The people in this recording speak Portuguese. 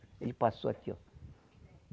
Ele passou aqui, ó